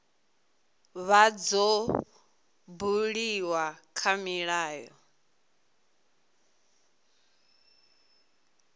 vha dzo buliwa kha milayo